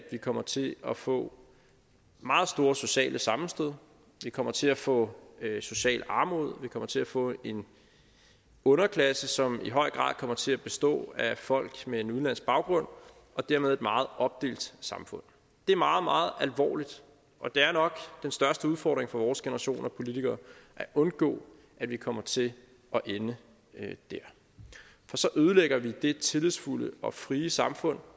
vi kommer til at få meget store sociale sammenstød vi kommer til at få socialt armod vi kommer til at få en underklasse som i høj grad kommer til at bestå af folk med en udenlandsk baggrund og dermed et meget opdelt samfund det er meget meget alvorligt og det er nok den største udfordring for vores generation af politikere at undgå at vi kommer til at ende dér for så ødelægger vi det tillidsfulde og frie samfund